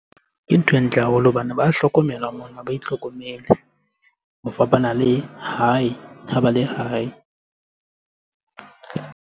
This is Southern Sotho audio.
Ke ntho e ntle haholo hobane ba hlokomelwa mona, ha ba itlhokomele. Ho fapana le hae, ha ba le hae.